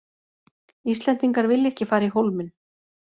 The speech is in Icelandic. Íslendingar vilja ekki fara í Hólminn